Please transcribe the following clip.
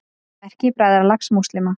Merki Bræðralags múslíma.